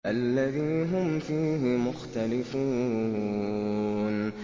الَّذِي هُمْ فِيهِ مُخْتَلِفُونَ